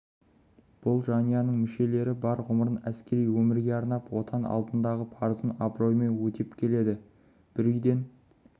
бұл жанұяның мүшелері бар ғұмырын әскери өмірге арнап отан алдындағы парызын абыроймен өтеп келеді бір үйден